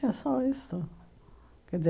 É só isso. Quer dizer